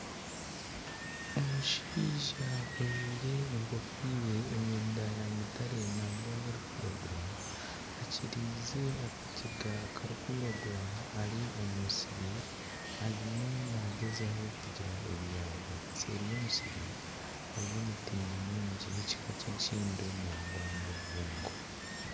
Omushaija ojwaire engofiire emyenda ya mutare nangwa n'erikwiragura akiriize akajega akarikwiragura ari omu musiri arimu naagyezaho kugira ebi yaabiba. Seeri y'omusiri hariyo emiti nyamwingi y'ekika ky'enkindo nangwa n'obubungo.